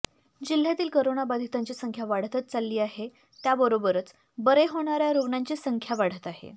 जिल्ह्यातील करोनाबाधितांची संख्या वाढतच चालली आहे त्याचबरोबर बरे होणाऱ्या रुग्णांची संख्या वाढत आहे